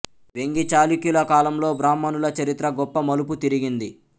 వేంగీ చాళుక్యుల కాలంలో బ్రాహ్మణుల చరిత్ర గొప్ప మలుపు తిరిగింది